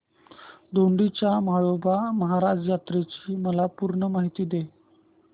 दोडी च्या म्हाळोबा महाराज यात्रेची मला पूर्ण माहिती दे